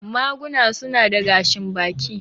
Maguna su na da gashin baki.